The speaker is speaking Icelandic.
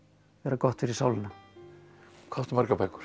gott fyrir sálina hvað áttu margar bækur